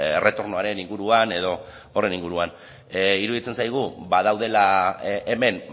erretornoaren inguruan edo horren inguruan iruditzen zaigu badaudela hemen